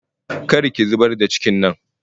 Kar ki zubar da cikin nan!